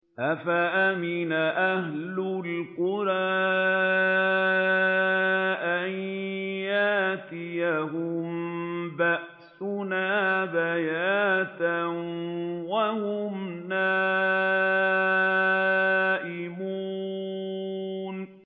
أَفَأَمِنَ أَهْلُ الْقُرَىٰ أَن يَأْتِيَهُم بَأْسُنَا بَيَاتًا وَهُمْ نَائِمُونَ